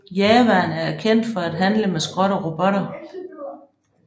Jawaerne er kendt for at handle med skrot og robotter